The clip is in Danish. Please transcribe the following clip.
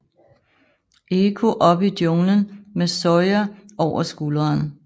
Eko op i junglen med Sawyer over skulderne